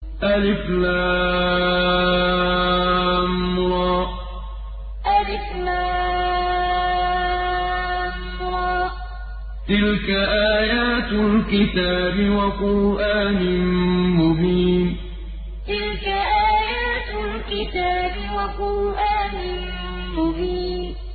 الر ۚ تِلْكَ آيَاتُ الْكِتَابِ وَقُرْآنٍ مُّبِينٍ الر ۚ تِلْكَ آيَاتُ الْكِتَابِ وَقُرْآنٍ مُّبِينٍ